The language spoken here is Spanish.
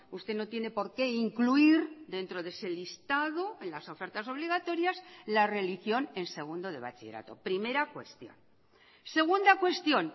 usted no tiene por qué incluir dentro de ese listado en las ofertas obligatorias la religión en segundo de bachillerato primera cuestión segunda cuestión